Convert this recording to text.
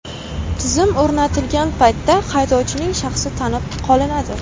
Tizim o‘rnatilgan paytda haydovchining shaxsi tanib qolinadi.